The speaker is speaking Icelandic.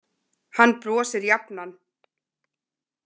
Hann brosir jafnan.